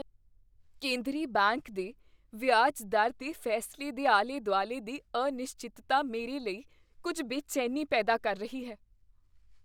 ਕੇਂਦਰੀ ਬੈਂਕ ਦੇ ਵਿਆਜ ਦਰ ਦੇ ਫੈਸਲੇ ਦੇ ਆਲੇ ਦੁਆਲੇ ਦੀ ਅਨਿਸ਼ਚਿਤਤਾ ਮੇਰੇ ਲਈ ਕੁੱਝ ਬੇਚੈਨੀ ਪੈਦਾ ਕਰ ਰਹੀ ਹੈ।